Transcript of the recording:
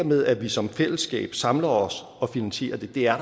med at vi som fællesskab samler os og finansierer det er